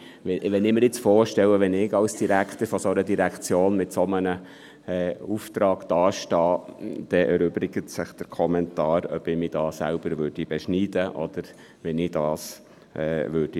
Wenn ich mir jetzt vorstelle, dass ich als Direktor einer solchen Direktion mit einem solchen Auftrag dastehe, erübrigt sich der Kommentar, ob ich mich da selber beschneiden oder wie ich dies lösen würde.